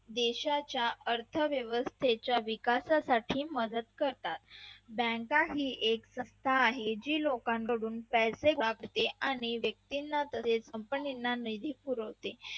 देशाच्या अर्थव्यवस्थेच्या विकासासाठी मदत करतात बँकाही एक संस्था याची लोकांकडून पैसे कापते आणि व्यक्तीना आणि company निधी फिरवते.